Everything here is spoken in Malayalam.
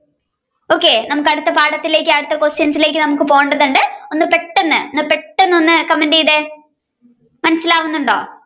okay നമ്മുക്ക് അടുത്ത പാഠത്തിലേക്കു അടുത്ത questions ലേക്ക് പോകേണ്ടതുണ്ട് ഒന്ന് പെട്ടെന്നു ഒന്ന് comment ചെയ്തേ മനസിലാവുന്നുണ്ടോ